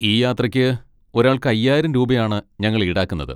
ഈ യാത്രയ്ക്ക് ഒരാൾക്ക് അയ്യായിരം രൂപയാണ് ഞങ്ങൾ ഈടാക്കുന്നത്.